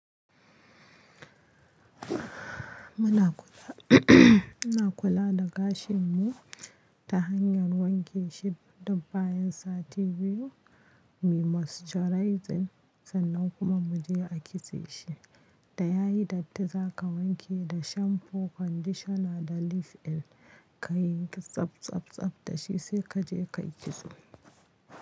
Muna kula, muna kula da gashin mu ta hanyar wanke shi duk bayan sati biyu, muyi moisturizing sannan kuma mu je a kitse shi. Da yayi datti za ka wanke da shampoo, conditioner da leave-in, ka yi tsabtsabtsab da shi sai ka je kayi kitso.